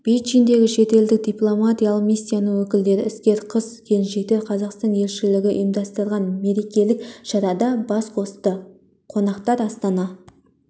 бейжіңдегі шетелдік дипломатиялық миссияның өкілдері іскер қыз-келіншектер қазақстан елшілігі ұйымдастырған мерекелік шарада бас қосты қонақтар астана